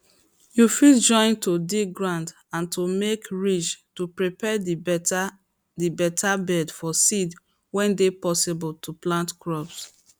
you fit join to dig ground and to make ridges to prepare the beta the beta bed for seed way dey possible to plant crop